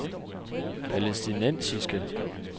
palæstinensiske